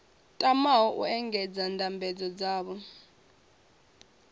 tamaho u engedza ndambedzo dzavho